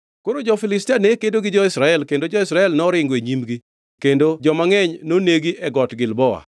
Koro jo-Filistia ne kedo gi jo-Israel kendo jo-Israel noringo e nyimgi kendo joma ngʼeny nonegi e Got Gilboa.